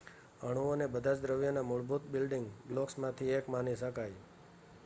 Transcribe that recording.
અણુઓને બધાજ દ્રવ્યના મૂળભૂત બિલ્ડિંગ બ્લોક્સમાંથી એક માની શકાય